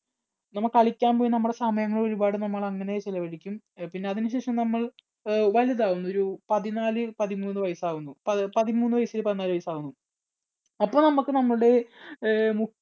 നമ്മൾ കളിക്കാൻ പോയി നമ്മുടെ സമയങ്ങൾ അങ്ങനെ ഒരുപാട് ചെലവഴിക്കും. പിന്നെ അതിനുശേഷം നമ്മൾ വലുതാവും ഒരുപതിനാല് പതിമൂന്ന് വയസ്സ് ആകുമ്പോൾ പതിമൂന്ന് വയസ്സ് പതിനാല് വയസ്സാകുമ്പോൾ അപ്പം നമുക്ക് നമ്മുടെ അഹ്